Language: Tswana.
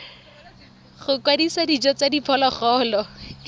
go kwadisa dijo tsa diphologolo